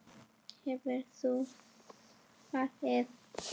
Hefur þú svarið?